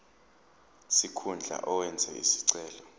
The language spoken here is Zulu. sikhundla owenze isicelo